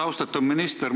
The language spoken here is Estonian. Austatud minister!